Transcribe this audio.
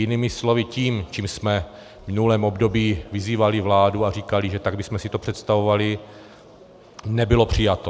Jinými slovy tím, čím jsme v minulém období vyzývali vládu a říkali, že tak bychom si to představovali, nebylo přijato.